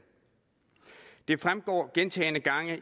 det fremgår gentagne gange